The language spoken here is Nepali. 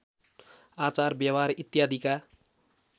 आचार व्यवहार इत्यादिका